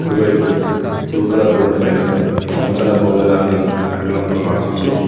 కుడివైపు blue colour board పైన మమతల కోవెల అని ఆంగ్లంలో రాసి ఉంది.